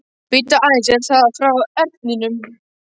Bíddu aðeins, er það frá Erninum?